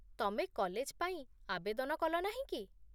ତମେ କଲେଜ ପାଇଁ ଆବେଦନ କଲନାହିଁ କି?